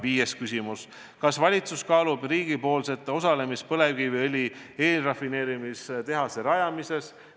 " Viies küsimus: "Kas valitsus kaalub riigipoolset osalemist põlevkiviõli eelrafineerimistehase rajamises?